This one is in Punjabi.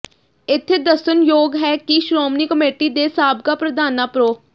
ਇਥੇ ਦੱਸਣਯੋਗ ਹੈ ਕਿ ਸ਼੍ਰੋਮਣੀ ਕਮੇਟੀ ਦੇ ਸਾਬਕਾ ਪ੍ਰਧਾਨਾਂ ਪ੍ਰੋ